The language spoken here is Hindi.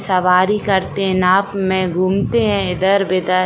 सवारी करते है नाव में घूमते है इधर-विधर।